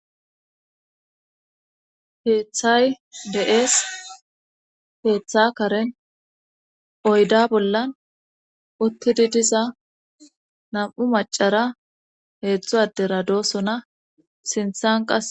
Heeththay deees heeththa karen oyda bollan uttidi diza nam7u macara heetzdzo addera doosona sinthan qae